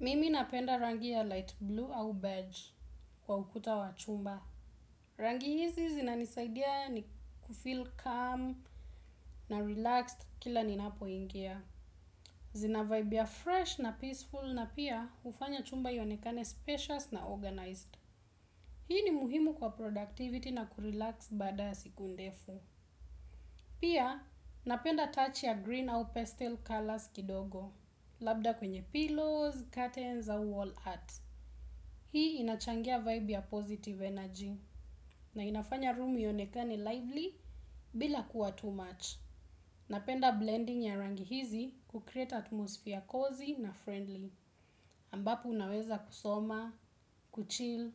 Mimi napenda rangi ya light blue au beige kwa ukuta wa chumba. Rangi hizi zinanisaidia ni kufil calm na relax kila ninapo ingia. Zina vibe fresh na peaceful pia hufanya chumba huonekana special na organized. Hii ni muhimu kwa productivity na kurelax baada siku ndefu. Pia napenda touch ya green au pastel colors kidogo. Labda kwenye pillos katens au wallart. Hii inachangia vibe ya positive energy na inafanya room iyonekane lively bila kuwa too much. Napenda blending ya rangi hizi kucreate atmosphere cozy na friendly ambapu unaweza kusoma, kuchil